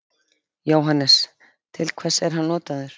Jóhannes: Til hvers er hann notaður?